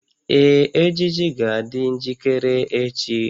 Ee, ejiji ga-adị njikere echi